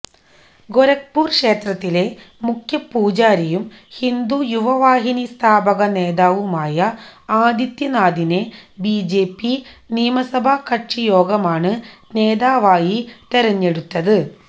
ഗൊരഖ്പുര് ക്ഷേത്രത്തിലെ മുഖ്യപൂജാരിയും ഹിന്ദു യുവവാഹിനി സ്ഥാപക നേതാവുമായ ആദിത്യനാഥിനെ ബിജെപി നിയമസഭാ കക്ഷി യോഗമാണ് നേതാവായി തിരഞ്ഞെടുത്തത്